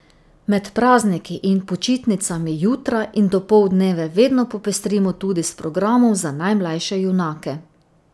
Med prazniki in počitnicami jutra in dopoldneve vedno popestrimo tudi s programom za najmlajše junake.